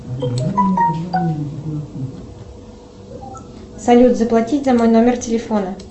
салют заплатить за мой номер телефона